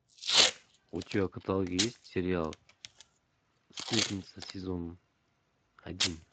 у тебя в каталоге есть сериал сплетница сезон один